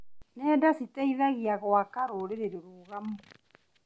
Nenda citeithagia gũaka rũrĩrĩ rũrũgamu.